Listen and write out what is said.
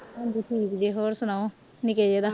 ਹਾਂਜੀ ਠੀਕ ਜੇ ਹੋਰ ਸੁਣਾਓ ਨਿੱਕੇ ਜੇ ਦਾ?